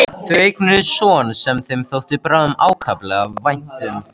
Þau eignuðust son sem þeim þótti báðum ákaflega vænt um.